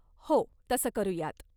हो, तसं करूयात.